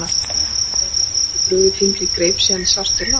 Málaliðarnir höfðu ekki brugðið fingri í greip síðan sást til lands.